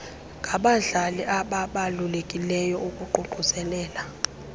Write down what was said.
ngabadlali ababalulekileyo ukuququzelela